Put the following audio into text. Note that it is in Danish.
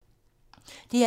DR1